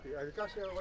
Gədəbəyə.